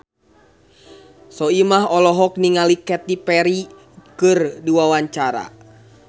Soimah olohok ningali Katy Perry keur diwawancara